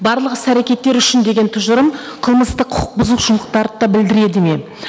барлық іс әрекеттері үшін деген тұжырым қылмыстық құқық бұзушылықтарды да білдіреді ме